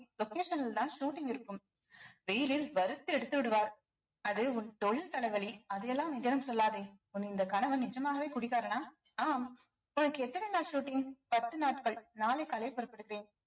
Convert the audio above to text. location னில்தான் shooting இருக்கும் வெயிலில் வறுத்து எடுத்து விடுவார் அது உன் தொழில் தலைவலி அதையெல்லாம் நிஜம் சொல்லாதே உன் இந்த கணவன் நிஜமாகவே குடிகாரனா ஆம் உனக்கு எத்தன நாள் shooting பத்து நாட்கள் நாளை காலை புறப்படுகிறேன்